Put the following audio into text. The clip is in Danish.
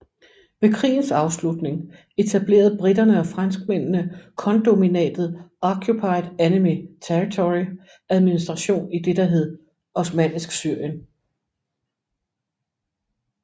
Ved krigens afslutning etablerede briterne og franskmændene kondominatet Occupied Enemy Territory Administration i det der hed Osmannisk Syrien